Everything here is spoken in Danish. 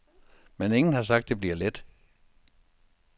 Men ingen har sagt, at det bliver let.